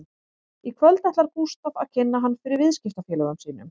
Í kvöld ætlar Gústaf að kynna hann fyrir viðskiptafélögum sínum